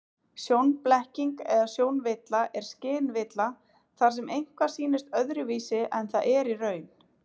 Sjónblekking eða sjónvilla er skynvilla þar sem eitthvað sýnist öðruvísi en það er í raun.